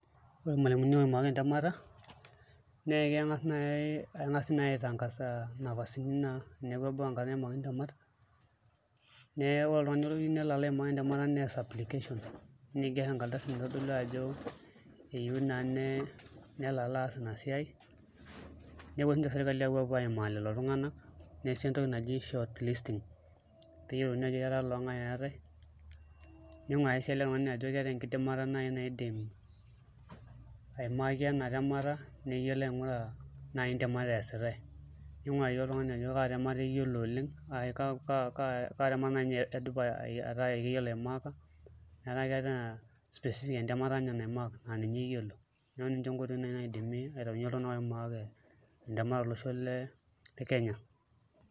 Ore irmalimuni oimark entemata naa keng'asi naai aitangasa napasini naa, ore pee ebau enkata naimaaki intemat neeku ore oltung'ani oyieu nelo aimaak entemata nees application niigerr enkardasi naitodolu ajo eyieu naa nelo aas ina siai nepuo siinche sirkali aapuo aimaak lelo tung'anak neesi entoki naji shortlisting pee eyiolouni ajo ketaa loong'ae eetae ning'urari si ele tung'ani ajo keeta enkidimata naai naidim aimaakie ena temata neyiolo aing'ura naai ntemat eesitai ning'urari oltung'ani ajo kaa temata eyiolo oleng' ashu kaa temata naai ninye edup ataa keyiolo aimaaka enaa keetai ina specific entemata ninye naimaak naa ninye eyiolo. Neeku ninche naai nkoitoi naidimi aitaunyie oltung'ani oimaak entemata tolosho le Kenya.